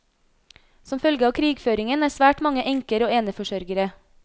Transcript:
Som følge av krigføringen er svært mange enker og eneforsørgere.